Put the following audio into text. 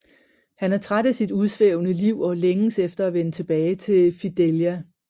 Han er træt af sit udsvævende liv og længes efter at vende tilbage til Fidelia